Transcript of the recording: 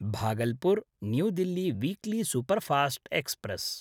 Bhagalpur New Delhi weekly superfast express